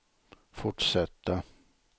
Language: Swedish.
fortsätta